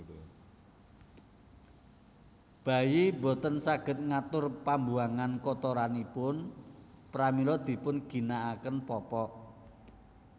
Bayi boten saged ngatur pambuangan kotoranipun pramila dipun ginakaken popok